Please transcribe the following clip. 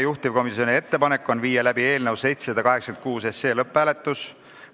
Juhtivkomisjoni ettepanek on viia läbi eelnõu 786 lõpphääletus.